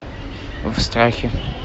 в страхе